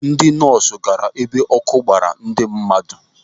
Ndị nọọsụ gaara ebe ọkụ gbaara ndị mmadụ.